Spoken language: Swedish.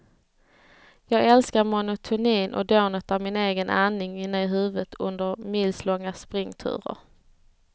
Jag älskar monotonin och dånet av min egen andning inne i huvudet under milslånga springturer.